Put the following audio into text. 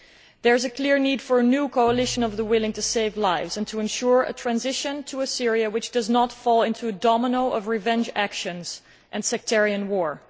There is a clear need for a new coalition of the willing to save lives and to ensure a transition to a Syria which does not fall into a domino pattern of revenge actions and sectarian war.